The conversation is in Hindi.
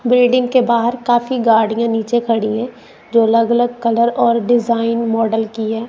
बिल्डिंग के बाहर काफी गाड़ियां नीचे खड़ी हैं जो अलग-अलग कलर और डिजाइन मॉडल की हैं।